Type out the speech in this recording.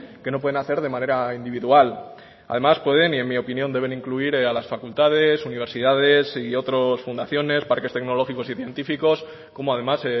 que no pueden hacer de manera individual además pueden y en mi opinión deben incluir a las facultades universidades y otros fundaciones parques tecnológicos y científicos como además